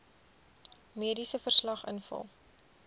mediese verslag invul